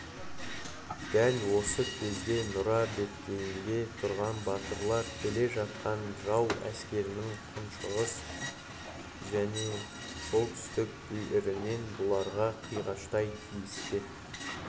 дәл осы кезде нұра беткейінде тұрған батырлар келе жатқан жау әскерінің күншығыс және солтүстік бүйірінен бұларға қиғаштай тиіспек